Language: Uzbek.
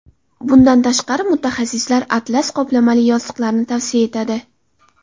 Bundan tashqari, mutaxassislar atlas qoplamali yostiqlarni tavsiya etadi.